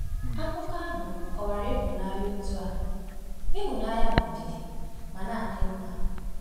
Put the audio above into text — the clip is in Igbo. Akụkọ ahụ kọwara ịhụnanya otú a: “Ịhụnanya bụ ndidi ma na-adị mma.”